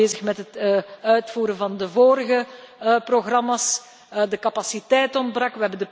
Ze waren nog bezig met het uitvoeren van de vorige programma's, de capaciteit ontbrak.